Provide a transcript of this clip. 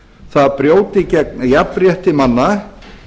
það brjóti gegn jafnrétti manna